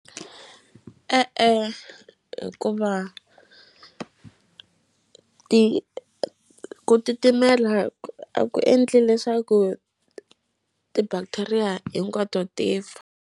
E-e hikuva ti ku titimela a ku endli leswaku ti-bacteria hinkwato ti fa.